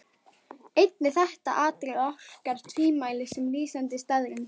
Einnig þetta atriði orkar tvímælis sem lýsandi staðreynd.